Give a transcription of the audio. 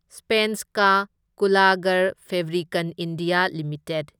ꯁ꯭ꯚꯦꯟꯁꯀꯥ ꯀꯨꯜꯂꯒꯔꯐꯦꯕ꯭ꯔꯤꯀꯟ India limited